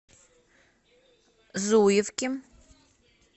зуевки